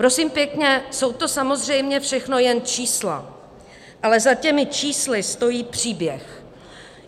Prosím pěkně, jsou to samozřejmě všechno jen čísla, ale za těmi čísly stojí příběh.